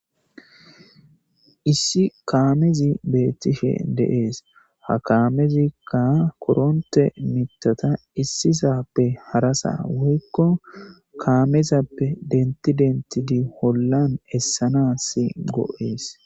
Issi kaamezi beettishe de7ees. Ha kaamezikka korontte mittata issisappe harasa woykko kaamezappe dentti denttidi hollan essanaasi go7ees.